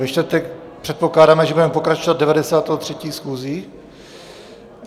Ve čtvrtek předpokládáme, že budeme pokračovat 93. schůzí.